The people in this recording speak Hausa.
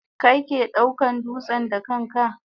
Kai ke daukan dutsen da kanka?